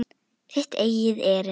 Þitt eigið erindi.